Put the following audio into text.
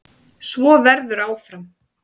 Svo verður áfram.